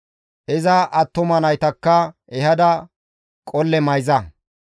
Iza attuma naytakka ehada qolle mayza.